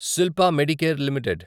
Shilpa medicare limited